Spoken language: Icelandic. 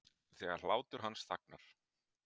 Þegar hláturinn hans þagnar.